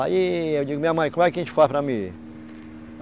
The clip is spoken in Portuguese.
Aí eu digo, minha mãe, como é que a gente faz para mim ir?